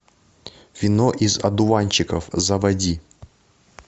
вино из одуванчиков заводи